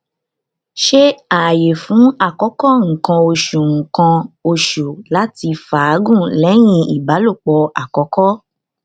ṣe aaye fun akoko nkan osu nkan osu lati faagun lẹhin ibalopo akọkọ